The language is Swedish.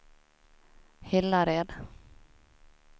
Hillared